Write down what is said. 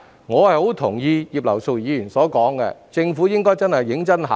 我很同意葉劉淑儀議員的意見，政府應該認真考慮。